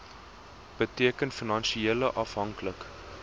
beteken finansieel afhanklik